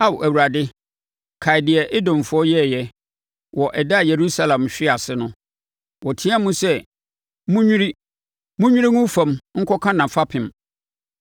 Ao Awurade, kae deɛ Edomfoɔ yɛeɛ wɔ ɛda a Yerusalem hwee ase no. Wɔteam sɛ, “Monnwiri, monnwiri ngu fam nkɔka nʼafapem!”